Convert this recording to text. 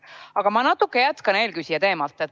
Aga ma natukene jätkan eelküsija teemat.